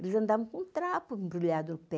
Eles andavam com um trapo embrulhado no pé.